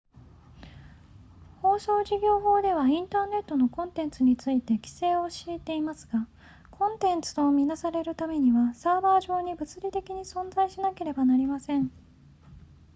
放送事業法ではインターネットのコンテンツについて規制を敷いていますがコンテンツと見なされるためにはサーバー上に物理的に存在しなければなりません